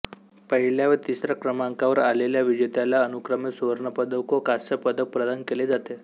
पहिल्या व तिसऱ्या क्रमांकावर आलेल्या विजेत्याला अनुक्रमे सुवर्णपदक व कांस्यपदक प्रदान केले जाते